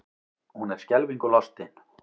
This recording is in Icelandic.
Hún er skelfingu lostin.